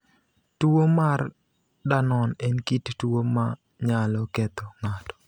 Tuwo mar Danon en kit tuwo ma nyalo ketho ng’ato.